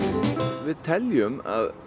við teljum að